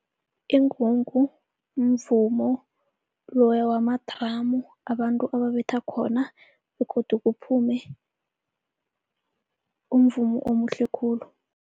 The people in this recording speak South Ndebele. Ingungu mvumo loya wama-drum abantu ababetha khona begodu kuphume umvumo omuhle khulu.